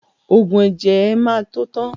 Ògùn ẹ̀jẹ̀ ẹ má tó tán